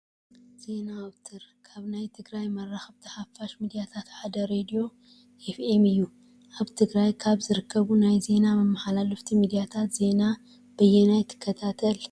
ዜና ኣውትር፡-ካብ ናይ ትግራይ መራኸብቲ ሓፋሽን ሚድያታትን ሓደ ሬድዮ ኤ.ፍ.ም እዩ፡፡ ኣብ ትግራይ ካብ ዝርከቡ ናይ ዜና መመሓላለፍቲ ሚድያታት ዜና በየናይ ትከታተል?